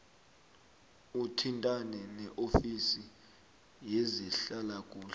uthintane neofisi yezehlalakuhle